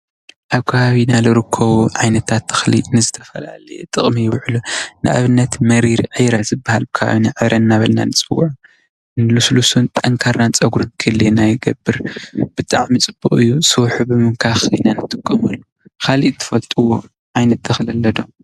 አብ ከባቢና ልርከቡ ዓይነታት ተኽሊ ንዝተፈላለዩ ጥቅሚ ይውዕሉ፡፡ ንአብነት፡- መሪር ዒረ ዝበሃል ኣብ ከባቢና ዕረ እናበልና ንፅውዖ ልስሉስን ጠንካራን ፀጉሪ ንክልየና ይገብር፡፡ ብጣዕሚ ፅቡቅ እዩ፡፡ ስውሑ ብምምካክ ኢና ንጥቀመሉ፡፡ ካሊእ እትፈልጥዎ ዓይነት ተኽሊ አሎ ዶ?